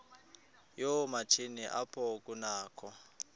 yoomatshini apho kunakho